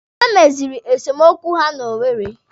Ha meziri esemokwu ha na Owere.